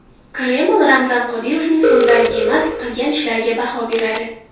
Kreml Ramzan Qodirovning so‘zlariga emas, qilgan ishlariga baho beradi.